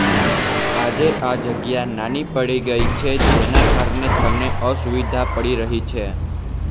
આજે આ જગ્યા નાની પડી ગઇ છે જેના કારણે તમને અસુવિધા પડી રહી છે